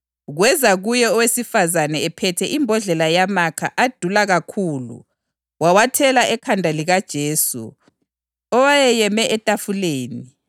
kweza kuye owesifazane ephethe imbodlela yamakha adula kakhulu wawathela ekhanda likaJesu owayeyeme etafuleni.